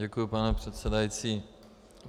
Děkuju, pane předsedající.